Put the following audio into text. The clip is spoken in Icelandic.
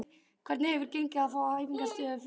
Hvernig hefur gengið að fá æfingaaðstöðu fyrir liðið?